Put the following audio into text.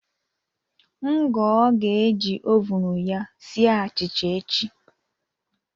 Ngoo ga-eji oven ya sie achịcha echi